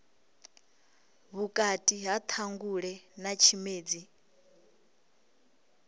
vhukati ha ṱhangule na tshimedzi